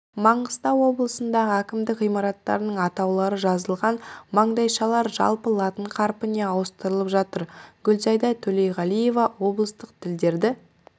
маңғыстау облысындағы әкімдік ғимараттарының атаулары жазылған маңдайшалар жаппай латын қарпіне ауыстырылып жатыр гүлзайда төлеуғалиева облыстық тілдерді